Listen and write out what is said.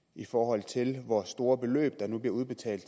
i forhold til hvor store beløb der nu bliver udbetalt